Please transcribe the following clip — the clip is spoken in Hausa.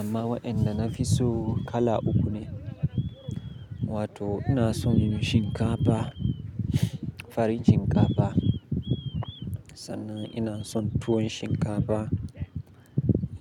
amma waɗanda na fi so kala uku ne. Wato ina son shinkafa, farin shinkafa, sannan ina son tuwon shinkafa